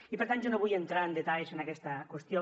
i per tant jo no vull entrar en detalls en aquesta qüestió